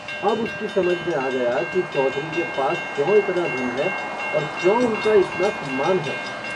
अब उसकी समझ में आ गया कि चौधरी के पास क्यों इतना धन है और क्यों उनका इतना सम्मान है।